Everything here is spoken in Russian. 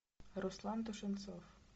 руслан тушенцов